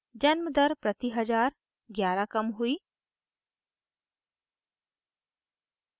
जन्म दर प्रति हजार 11 कम हुई